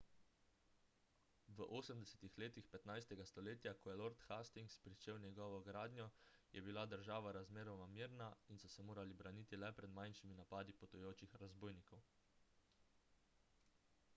v 80 letih 15 stoletja ko je lord hastings pričel njegovo gradnjo je bila država razmeroma mirna in so se morali braniti le pred manjšimi napadi potujočih razbojnikov